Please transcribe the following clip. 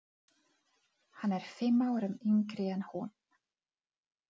Hann er fimm árum yngri en hún.